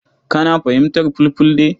Kana fahimtar Fulfulde?